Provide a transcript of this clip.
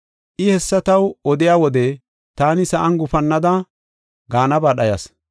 I hessa taw odiya wode, taani sa7an gufannada, gaanaba dhayas.